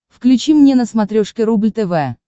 включи мне на смотрешке рубль тв